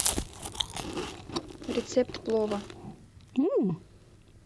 рецепт плова